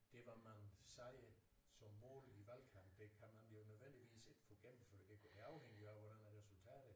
Det hvad man siger som mål i valgkampen det kan man jo nødvendigvis ikke få gennemført det afhænger jo af hvordan at resultatet